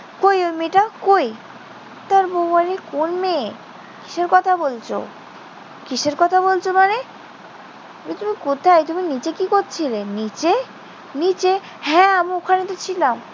কই ওই মেয়েটা? কই? তার বউ বলে, কোন মেয়ে? কিসের কথা বলছ? কিসের কথা বলছ মানে? তুমি কোথায়? তুমি নিচে কি করছিলে? নিচে? নিচে। হ্যাঁ, আমি ওখানেইতো ছিলাম।